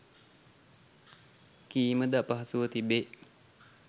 කීමද අපහසුව තිබේ.